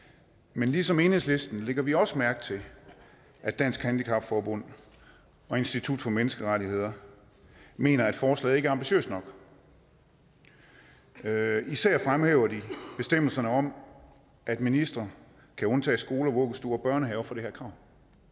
men ligesom enhedslisten lægger vi også mærke til at dansk handicap forbund og institut for menneskerettigheder mener at forslaget ikke er ambitiøst nok især især fremhæver de bestemmelserne om at ministeren kan undtage skoler vuggestuer og børnehaver fra det her krav